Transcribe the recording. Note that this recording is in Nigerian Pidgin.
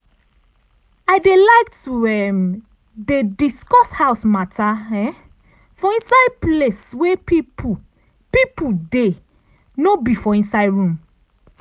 i dey like to um dey discuss house matter um for inside place wey people people dey no be for inside room